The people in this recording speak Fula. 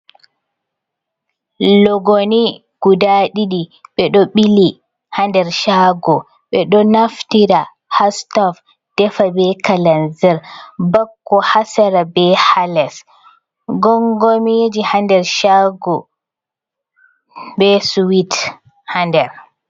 Logoni guda didi bedo bili ha nder chago be do naftira ha stov defa be calanzer bakko hasara be halas gongomiji hander chago be swit ha nder.